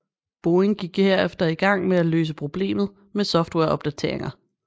Boeing gik herefter i gang med at løse problemet med softwareopdateringer